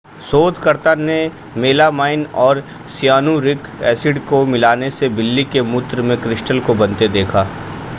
शोधकर्ताओं ने मेलामाइन और सियानुरिक एसिड को मिलाने से बिल्ली के मूत्र में क्रिस्टल्स को बनते देखा